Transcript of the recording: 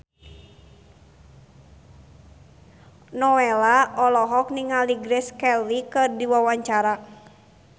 Nowela olohok ningali Grace Kelly keur diwawancara